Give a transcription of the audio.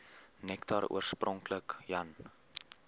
nektar oorspronklik jan